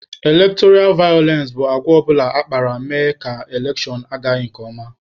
Elektọra vayọlensị bụ agwa ọbụla akpara mere na elekshon agaghị nke ọma.